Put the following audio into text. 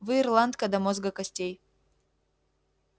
вы ирландка до мозга костей